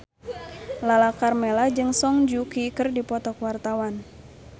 Lala Karmela jeung Song Joong Ki keur dipoto ku wartawan